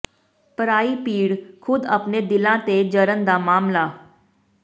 ਪਰਾਈ ਪੀੜ ਖੁਦ ਅਪਣੇ ਦਿਲਾਂ ਤੇ ਜਰਨ ਦਾ ਮਸਲਾ